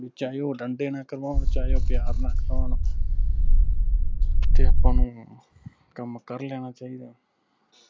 ਵੀ ਚਾਹੇ ਉਹ ਡੰਡੇ ਨਾ ਕਰੋਨ ਚਾਹੇ ਉਹ ਪਿਆਰ ਨਾ ਕਰੋਨ ਤੇ ਆਪਾਂ ਨੂੰ ਕੰਮ ਕਰ ਲੈਣਾ ਚਾਹੀਦਾ ਹੈ